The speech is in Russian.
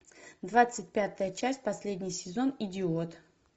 двадцать пятая часть последний сезон идиот